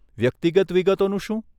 વ્યક્તિગત વિગતોનું શું?